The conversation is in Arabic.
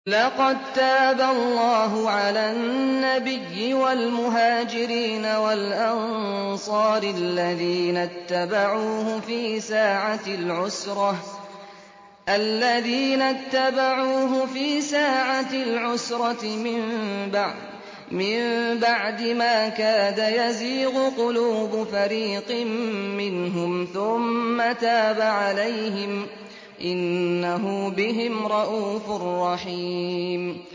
لَّقَد تَّابَ اللَّهُ عَلَى النَّبِيِّ وَالْمُهَاجِرِينَ وَالْأَنصَارِ الَّذِينَ اتَّبَعُوهُ فِي سَاعَةِ الْعُسْرَةِ مِن بَعْدِ مَا كَادَ يَزِيغُ قُلُوبُ فَرِيقٍ مِّنْهُمْ ثُمَّ تَابَ عَلَيْهِمْ ۚ إِنَّهُ بِهِمْ رَءُوفٌ رَّحِيمٌ